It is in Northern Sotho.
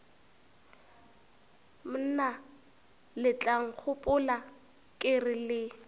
mna letlankgopola ke re le